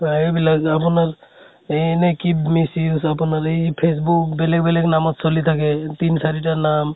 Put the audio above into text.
সেইবিলাক আপোনাৰ এহ এনে কিদ miss use আপোনাৰ এই facebook বেলেগ বেলেগ নামত চলি থাকে। তিনি চাৰি টা নাম